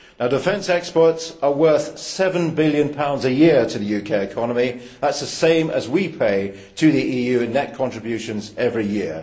Defence exports are worth GBP 7 billion a year to the UK economy, that is the same as we pay to the EU in net contributions every year.